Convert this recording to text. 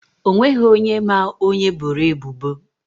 O nweghị onye ma onye eboro ebubo.